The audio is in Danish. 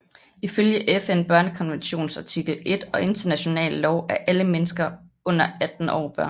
Ifølge FN børnekonventions artikel 1 og international lov er alle mennesker under 18 år børn